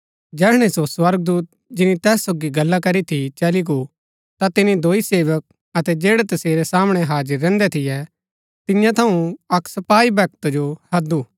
जैहणै सो स्वर्गदूत जिनी तैस सोगी गल्ला करी थी चली गो ता तिनी दोई सेवक अतै जैड़ै तसेरै सामणै हाजिर रैहन्दै थियै तियां थऊँ अक्क सपाई भक्त जो हैदु